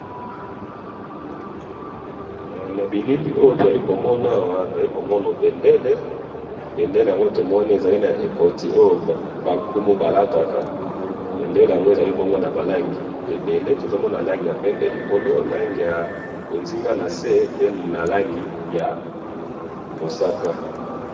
he na bilili oyo tozali komona awa tozali komona bendele bendele yango oyo ezali na ekati bonkumu balataka bendele yango ezali nalangi ebele tozali komona langi ya pembe likolo na ya mosaka nase